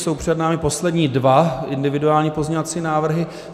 Jsou před námi poslední dva individuální pozměňovací návrhy.